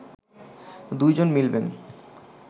দুই জন মিলবেন